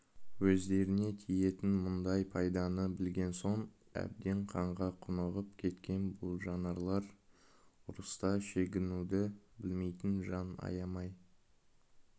өздеріне тиетін мұндай пайданы білген соң әбден қанға құнығып кеткен бұл жан аларлар ұрыста шегінуді білмейтін жан аямай